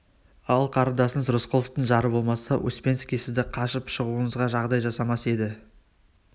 ал қарындасыңыз рысқұловтың жары болмаса успенский сіздің қашып шығуыңызға жағдай жасамас еді